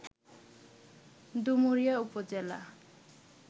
ডুমুরিয়া উপজেলা